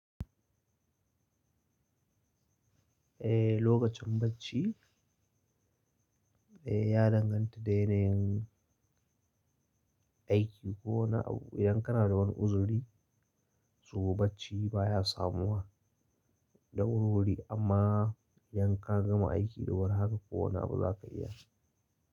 Eh lokacin bacci eh ya danganta da yanayin aiki ko wani abu, idan kana da wani uzuri, so, bacci baya samuwa da wurwuri, amma idan ka gama aiki da wuri haka kowane abu zaka iya shi.